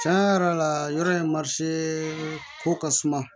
Cɛn yɛrɛ la yɔrɔ in ko ka suma